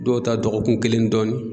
Dɔw ta dɔgɔkun kelen ni dɔɔni.